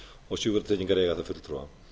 og sjúkratryggingar eiga þar fulltrúa